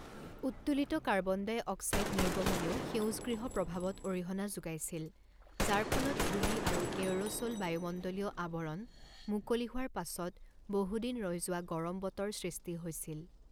উত্তোলিত carbon dioxide নিৰ্গমণেও সেউজগৃহ প্ৰভাৱত অৰিহণা যোগাইছিল, যাৰ ফলত ধূলি আৰু এয়েৰ'ছ'ল বায়ুমণ্ডলীয় আৱৰণ মুকলি হোৱাৰ পাছত বহু দিন ৰৈ যোৱা গৰম বতৰ সৃষ্টি হৈছিল।